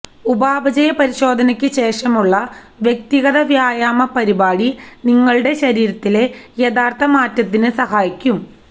ഉപാപചയ പരിശോധനയ്ക്ക് ശേഷമുള്ള വ്യക്തിഗത വ്യായാമപരിപാടി നിങ്ങളുടെ ശരീരത്തിലെ യഥാർത്ഥ മാറ്റത്തിന് സഹായിക്കും